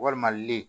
Walima lile